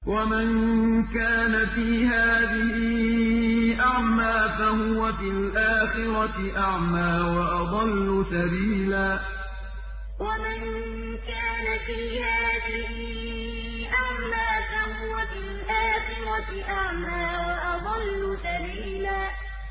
وَمَن كَانَ فِي هَٰذِهِ أَعْمَىٰ فَهُوَ فِي الْآخِرَةِ أَعْمَىٰ وَأَضَلُّ سَبِيلًا وَمَن كَانَ فِي هَٰذِهِ أَعْمَىٰ فَهُوَ فِي الْآخِرَةِ أَعْمَىٰ وَأَضَلُّ سَبِيلًا